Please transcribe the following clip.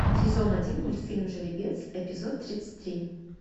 сезон один мультфильм жеребец эпизод тридцать три